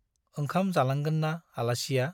ओंखाम जालांगोन ना आलासिया ?